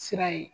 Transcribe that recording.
Sira ye